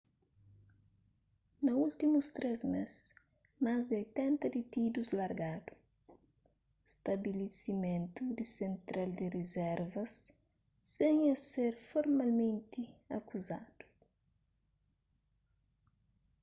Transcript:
na últimus 3 mês más di 80 ditidus largadu stabilisimentu di sentral di rizervas sen es ser folmalmenti akuzadu